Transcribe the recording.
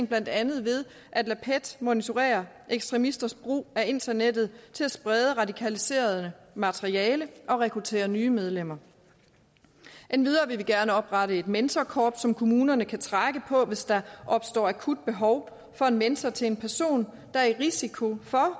blandt andet ved at lade pet monitorere ekstremisters brug af internettet til at sprede radikaliserende materiale og rekruttere nye medlemmer endvidere vil vi gerne oprette et mentorkorps som kommunerne kan trække på hvis der opstår akut behov for en mentor til en person der er udsat for risiko for at